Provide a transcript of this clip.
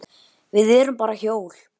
Við erum bara hjól.